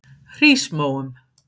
Hrísmóum